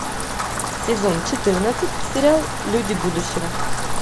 сезон четырнадцать сериал люди будущего